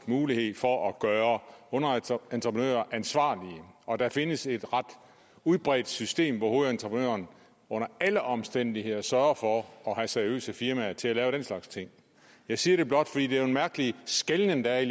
mulighed for at gøre underentreprenører ansvarlige og der findes et ret udbredt system hvor hovedentreprenøren under alle omstændigheder sørger for at have seriøse firmaer til at lave den slags ting jeg siger det blot fordi det jo er en mærkelig skelnen der er